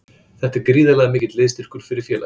Þetta er gríðarlega mikill liðsstyrkur fyrir félagið.